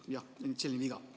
Jah, selline viga.